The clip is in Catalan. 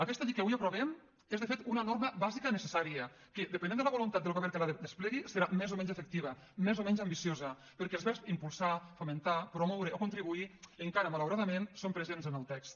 aquesta llei que avui aprovem és de fet una norma bàsica necessària que depenent de la voluntat del govern que la desplegui serà més o menys efectiva més o menys ambiciosa perquè els verbs impulsar fomentar promoure o contribuir encara malauradament són presents en el text